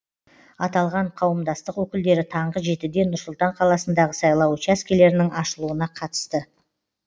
аталған қауымдастық өкілдері таңғы жетіде нұр сұлтан қаласындағы сайлау учаскелерінің ашылуына қатысты